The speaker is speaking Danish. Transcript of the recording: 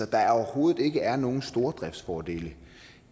der overhovedet ikke er nogen stordriftsfordele